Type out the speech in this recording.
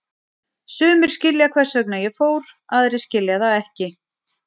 Sumir skilja hvers vegna ég fór, aðrir skilja það ekki.